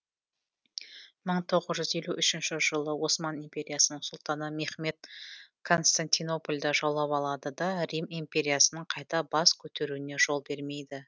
мың төрт жүз елу үшінші жылы осман империясының сұлтаны мехмед константинополді жаулап алады да рим империясының қайта бас көтеруіне жол бермейді